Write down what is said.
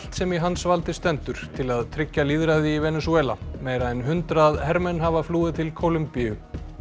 sem í hans valdi stendur til að tryggja lýðræði í Venesúela meira en hundrað hermenn hafa flúið til Kólumbíu